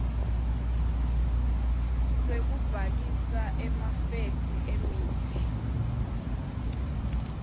sekubhalisa emafethri emitsi